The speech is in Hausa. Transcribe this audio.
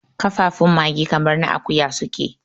kafafun mage kamar na akuya suke